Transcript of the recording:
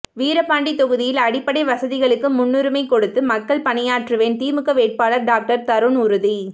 வீரபாண்டி தொகுதியில் அடிப்படை வசதிகளுக்கு முன்னுரிமை கொடுத்து மக்கள் பணியாற்றுவேன் திமுக வேட்பாளர் டாக்டர் தருண் உறுதி